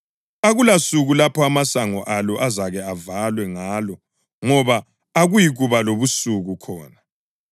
Akulasuku lapho amasango alo azake avalwe ngalo ngoba akuyikuba lobusuku khona.